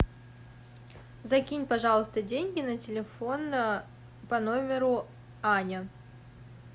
закинь пожалуйста деньги на телефон по номеру аня